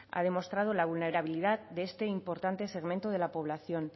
ha demostrado la vulnerabilidad de este importante segmento de la población